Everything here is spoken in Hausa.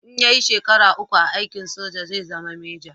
In ya yi shekara uku a aikin soja zai zama meja